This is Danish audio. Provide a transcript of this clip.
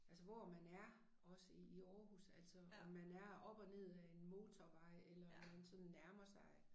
Altså hvor man er også i i Aarhus altså om man er op og ned ad en motorvej eller om man sådan nærmer sig